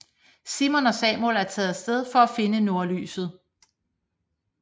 Simon og Samuel er taget af sted for at finde nordlyset